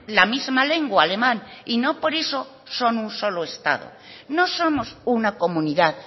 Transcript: la misma lengua alemán y no por eso son un solo estado no somos una comunidad